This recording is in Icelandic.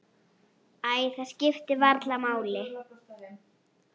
Æ, það skiptir varla máli.